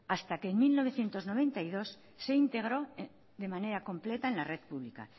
hasta que en mil novecientos noventa y dos se integró de manera completa en la red pública